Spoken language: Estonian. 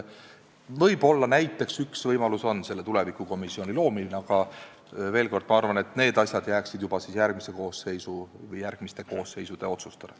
Võib-olla oleks üks võimalusi selle tulevikukomisjoni loomine, aga veel kord, ma arvan, et need asjad jääksid juba järgmise koosseisu või järgmiste koosseisude otsustada.